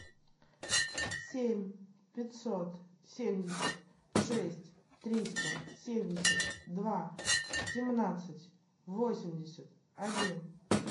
семь пятьсот семьдесят шесть триста семьдесят два семнадцать восемьдесят один